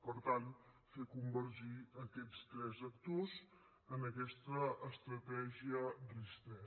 per tant fer convergir aquests tres actors en aquesta estratègia ris3